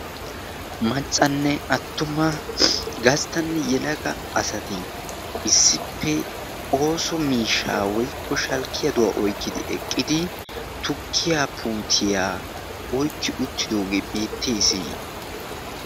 Maccanne attuma gasttanne yelaga asati issippe ooso miishshaa woikko shalkkiyaduwaa oykkidi eqqidi tukkiya putiyaa oykki uttidoogee beettees.